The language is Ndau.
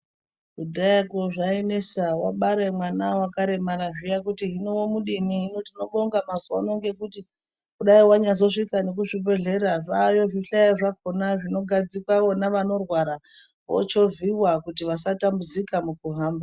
Kudhayakwo zvainesa wabare mwana wakaremara zviya kuti womudini. Hino tinobonga mazuwa ano ngekuti kudayi wanyazosvika nekuzvibhedhlera zvaayo zvihlayo zvakhona zvinogadzikwa vona vanorwara vochovhiwa kuti vasatambudzika mukuhamba.